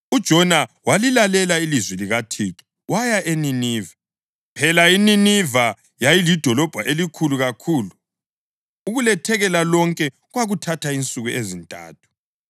UJona walilalela ilizwi likaThixo, waya eNineve. Phela iNiniva yayilidolobho elikhulu kakhulu, ukulethekela lonke kwakuthatha insuku ezintathu.